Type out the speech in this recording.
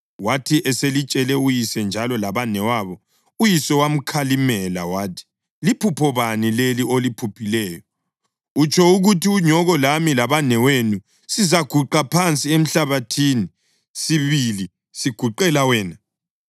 Wathi eselitshele uyise njalo labanewabo uyise wamkhalimela wathi, “Liphupho bani leli oliphuphileyo? Utsho ukuthi unyoko lami labanewenu sizaguqa phansi emhlabathini sibili siguqela wena?”